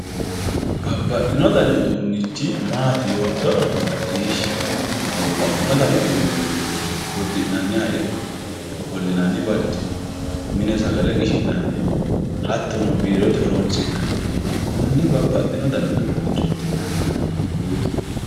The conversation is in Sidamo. Babbaxxino dani uduunchi maati yoottonna macciishshi babbaxxino uduuni uddi'nanniha ikkanna ofollinaniwati mine sagale qishi'nanniha hattono biiro horonsi'nanniha konne biirote uduuneti yinannina buuxi.